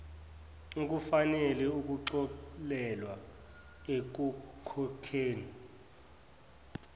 ukufanele ukuxolelwa ekukhokheni